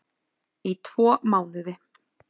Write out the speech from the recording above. Í tvo mánuði